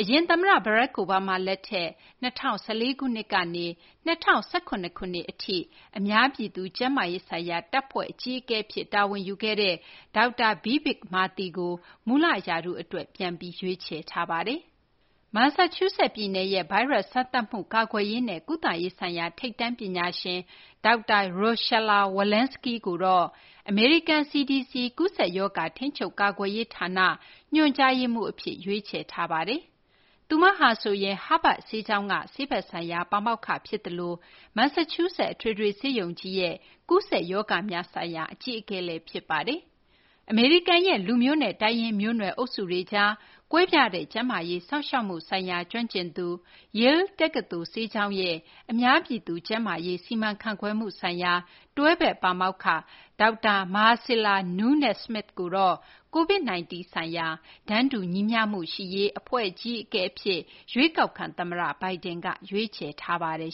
အရင် သမ္မတ Barack Obama လက်ထက် ၂၀၁၄ ခုနှစ်ကနေ ၂၀၁၇ ခုနှစ် အထိ အများပြည်သူ ကျန်းမာရေးဆိုင်ရာ တပ်ဖွဲ့ အကြီးအကဲ အဖြစ် တာဝန်ယူခဲ့တဲ့ ဒေါက်တာ Vivek Murthy ကို မူလ ရာထူး အတွက် ပြန်လည် ရွေးချယ်ထားပါတယ်။ မန်ဆာချူးဆက် ပြည်နယ်ရဲ့ ဗိုင်းရပ်စ် စမ်းသပ်မှု၊ ကာကွယ်ရေးနဲ့ ကုသရေးဆိုင်ရာ ထိပ်တန်း ပညာရှင် ဒေါက်တာ Rochelle Walensky ကိုတော့ အမေရိကန် CDC ကူးစက်ရောဂါ ထိန်းချုပ် ကာကွယ်ရေး ဌာန ညွှန်ကြားရေးမှူး အဖြစ် ရွေးချယ်ထားပါတယ်။ သူမဟာဆိုရင် Havard ဆေးကျောင်းက ဆေးဘက်ဆိုင်ရာ ပါမောက္ခ ဖြစ်သလို မန်ဆာချူးဆက် အထွေထွေ ဆေးရုံကြီးရဲ့ ကူးစက်ရောဂါများဆိုင်ရာ အကြီးအကဲလည်း ဖြစ်ပါတယ်။ အမေရိကန်ရဲ့ လူမျိုးစုရေးရာ နဲ့ တိုင်းရင်း မျိုးနွယ် အုပ်စုတွေကြား မတူညီတဲ့ ကျန်းမာရေး စောင့်ရှောက်မှုဆိုင်ရာ ကျွမ်းကျင်သူ၊ Yale တက္ကသိုလ် ဆေးကျောင်းရဲ့ အများပြည်သူ ကျန်းမာရေး စီမံခန့်ခွဲမှု ဆိုင်ရာ တွဲဖက် ပါမောက္ခ ဒေါက်တာ Marcella Nunez-Smith ကိုတော့ COVID-19 ဆိုင်ရာ တန်းတူညီမျှမှု ရှိရေးဆိုင်ရာ အဖွဲ့ အကြီးအကဲ အဖြစ် ရွေးကောက်ခံ သမ္မတ Biden က ရွေးချယ်ထားပါတယ်